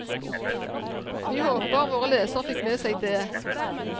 Vi håper våre lesere fikk med seg dét.